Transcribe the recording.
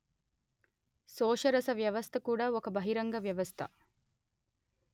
శోషరస వ్యవస్థ కూడా ఒక బహిరంగ వ్యవస్థ